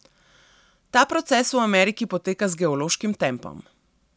Ta proces v Ameriki poteka z geološkim tempom.